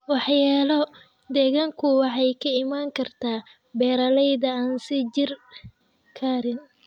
Waxyeello deegaanku waxay ka iman kartaa beeralayda aan sii jiri karin.